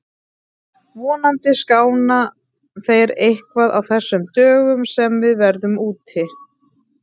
Vonandi skána þeir eitthvað á þessum dögum sem við verðum úti.